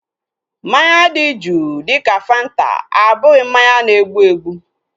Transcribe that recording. Mmanya dị juu dịka fanta abụghị mmanya na-egbu egbu